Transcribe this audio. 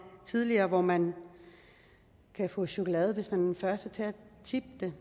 tidligere hvor man kan få chokolade hvis man er den første til at tippe det